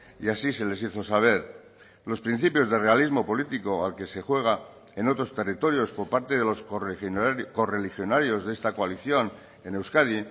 y así se les hizo saber los principios de realismo político al que se juega en otros territorios por parte de los correligionarios de esta coalición en euskadi